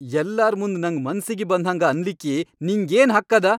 ಯಲ್ಲಾರ್ ಮುಂದ್ ನಂಗ್ ಮನ್ಸಿಗಿ ಬಂದ್ಹಂಗ ಅನ್ಲಿಕ್ಕಿ ನಿಂಗೇನ್ ಹಕ್ ಅದ?!